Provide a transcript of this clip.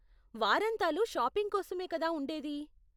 వారాంతాలు shopping కోసమే కదా ఉండేది!